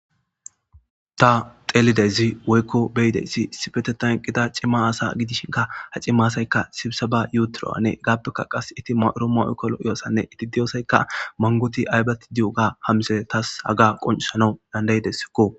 Ta xeelideyzi woykko beyideyssi issifete tanqida cimma asa gidishinka ha cima asaykka sibisa ba yuuturo7ane gaappeka qas itti mauro ma7ekkolo iyossanne iti diyosaykka mangoti aybati di7oga hamisee tas haga qoncisanau dandayidessikko.